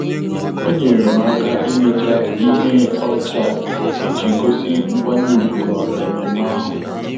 Ọ́ nyèrè m áká íméchá ihe ọcha iji gósí nkwanye ùgwù màkà ememe ahụ.